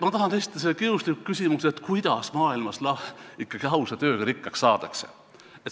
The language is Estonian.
Ma tahan nüüd esitada selle kiusliku küsimuse, et kuidas maailmas ikkagi ausa tööga rikkaks saadakse.